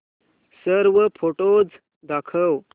सर्व फोटोझ दाखव